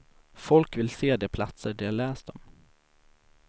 Folk vill se de platser de har läst om.